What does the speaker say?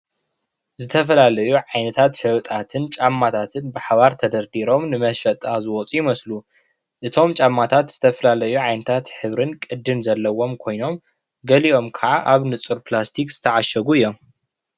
ዝተፈላለዩ ዓይነታት ሸበጣትን ጫማታትን ብሓባር ተደርዲሮም ንመሸጣ ዝወፁ ይመስሉ፡፡ እቶም ጫማታት ዝተፈላለዩ ዓይነታት ሕብርን ቅድን ዘለዎም ኮይኖም ገሊኦም ክዓ ኣብ ንፁር ፕላስቲክ ዝተዓሸጉ እዮም፡፡